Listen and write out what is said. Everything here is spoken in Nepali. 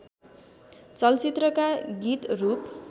चलचित्रका गीत रूप